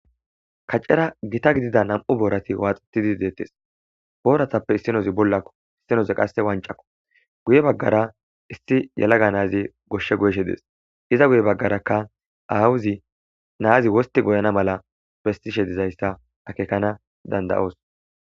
Kacera gita gidida nam'u boorati waaxitidi deettes booratappe issinozi bollakko issinoze qasse wancakko guye baggara isti yelaga naazi goshshe goeshe dees iza guye baggarakka aawuzi naazi wosti goyana mala bestishe dizayssa akekana dandayoos.